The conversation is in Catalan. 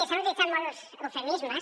s’han utilitzat molts eufemismes